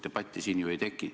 Debatti siin ju ei teki.